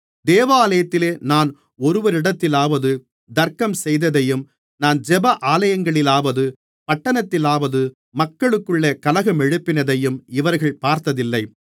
தேவாலயத்திலே நான் ஒருவரிடத்திலாவது தர்க்கம் செய்ததையும் நான் ஜெப ஆலயங்களிலாவது பட்டணத்திலாவது மக்களுக்குள்ளே கலகமெழுப்பினதையும் இவர்கள் பார்த்ததில்லை